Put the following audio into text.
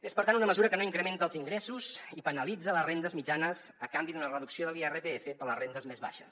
és per tant una mesura que no incrementa els ingressos i penalitza les rendes mitjanes a canvi d’una reducció de l’irpf per a les rendes més baixes